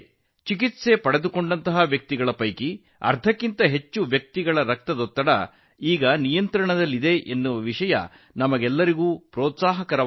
ಚಿಕಿತ್ಸೆ ಪಡೆದ ಅರ್ಧದಷ್ಟು ಮಂದಿಯಲ್ಲಿ ರಕ್ತದೊತ್ತಡ ನಿಯಂತ್ರಣದಲ್ಲಿರುವುದು ನಮಗೆಲ್ಲರಿಗೂ ಉತ್ತೇಜನದ ಸಂಗತಿಯಾಗಿದೆ